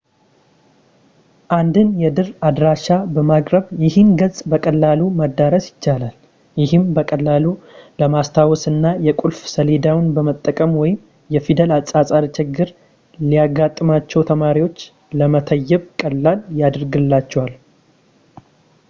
አንድን የድር አድራሻ በማቅረብ ይህን ገጽ በቀላሉ ማዳረስ ይቻላል ይህም በቀላሉ ለማስታወስ እና የቁልፍ ሰሌዳውን በመጠቀም ወይም የፊደል አጻጻፍ ችግር ለሚያጋጥማቸው ተማሪዎች ለመተየብ ቀላል ያደርግላቸዋል